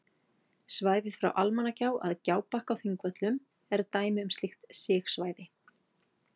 Svæðið frá Almannagjá að Gjábakka á Þingvöllum er dæmi um slíkt sigsvæði.